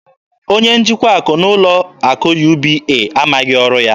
Onye njikwa akụ n'ụlọ akụ UBA amaghị ọrụ ya.